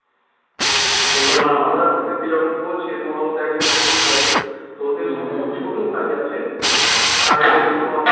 ওদের কে যখন বলছে তোমাদের মধ্যে একজন কে নিয়ে যাব তো ওদের মধ্যে যে ছোট ভাই আছে তাকে বলেছে তোমাকে